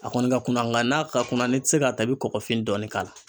A kɔni ka kunna nga n'a ka kunna ne tɛ se k'a ta i bɛ kɔkɔfin dɔɔni k'a la.